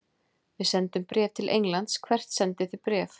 Við sendum bréf til Englands. Hvert sendið þið bréf?